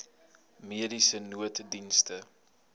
mediese nooddienste